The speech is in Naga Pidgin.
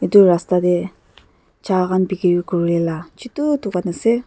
edu rasta tae cha khan bikiri kurilaka chutu dukan ase.